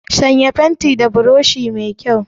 Sanya fentin da burushi mai kyau!